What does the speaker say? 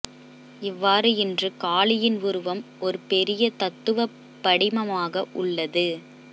இவ்வாறு இன்று காளியின் உருவம் ஒரு பெரிய தத்துவ படிமமாக உள்லது